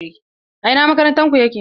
A ina makarantar ku yake?